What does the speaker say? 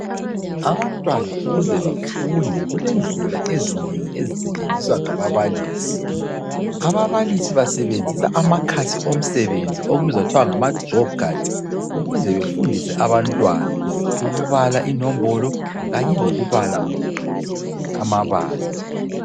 Abantwana ukuze bafunde, kulendlela ezinengi ezisetshenziswa ngababalisi. Ababalisi basebenzisa amakhasi omsebenzi okubizwa kuthiwa ngama job cards. Ukuze befundise abantwana ukubala inombolo kanye lokubala amabala